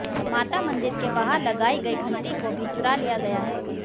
माता मंदिर के बाहर लगाई गई घंटी को भी चुरा लिया गया है